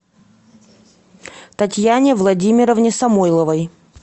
татьяне владимировне самойловой